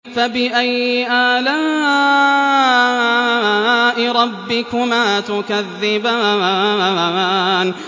فَبِأَيِّ آلَاءِ رَبِّكُمَا تُكَذِّبَانِ